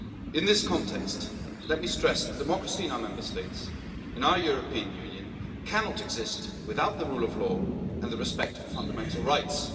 In this context, let me stress that democracy in our Member States, in our European Union, cannot exist without the rule of law and respect for fundamental rights.